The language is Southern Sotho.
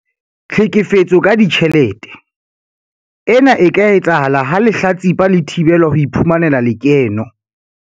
Tlhekefetso ka ditjhelete- Ena e ka etsahala ha lehlatsipa le thibelwa ho iphumanela lekeno.